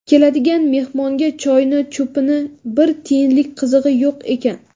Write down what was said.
Keladigan mehmonga choyni cho‘pini bir tiyinlik qizig‘i yo‘q ekan.